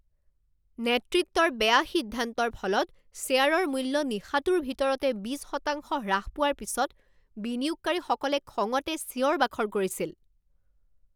নেতৃত্বৰ বেয়া সিদ্ধান্তৰ ফলত শ্বেয়াৰৰ মূল্য নিশাটোৰ ভিতৰতে বিছ শতাংশ হ্ৰাস পোৱাৰ পিছত বিনিয়োগকাৰীসকলে খঙতে চিঞৰ বাখৰ কৰিছিল।